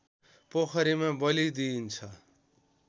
पोखरीमा बलि दिइन्छ